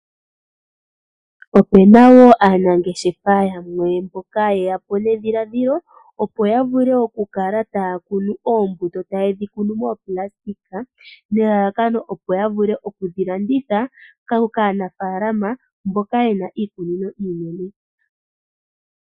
Opuna wo aanangeshefa yamwe mboka ye yapo nedhiladhilo opo yavule oku kala taya kunu oombuto moopulasitika opo ya wape oku dhiladhitha